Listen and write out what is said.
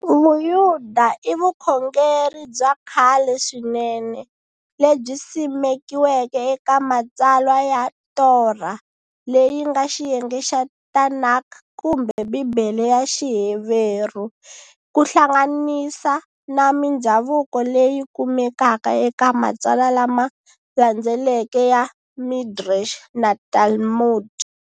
Vuyuda i vukhongeri byakhale swinene lebyi simekiweke eka matsalwa ya Torah, Leyinga xiyenge xa Tanakh kumbe Bibhele ya Xiheveru, kuhlanganisa na mindzhavuko leyi kumekaka eka matsalwa lama landzeleke ya Midrash na Talmud.